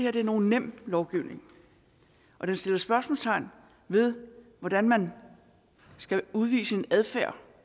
er nogen nem lovgivning og den sætter spørgsmålstegn ved hvordan man skal udvise en adfærd